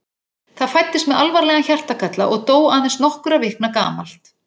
Það fæddist með alvarlegan hjartagalla og dó aðeins nokkurra vikna gamalt.